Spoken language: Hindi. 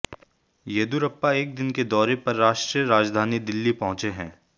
येदियुरप्पा एक दिन के दौरे पर राष्ट्रीय राजधानी दिल्ली पहुंचे हैं